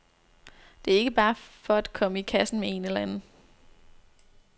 Det er ikke bare for at komme i kassen med en eller anden.